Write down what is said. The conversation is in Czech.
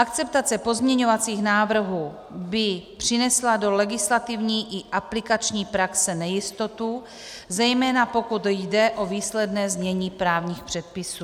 Akceptace pozměňovacích návrhů by přinesla do legislativní i aplikační praxe nejistotu, zejména pokud jde o výsledné znění právních předpisů.